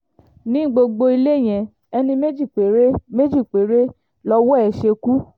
ní gbogbo ilé yẹn ẹni méjì péré méjì péré lọ́wọ́ ẹ̀ ṣekú